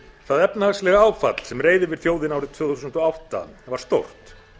það efnahagslega áfall sem reið yfir þjóðina árið tvö þúsund og átta var stórt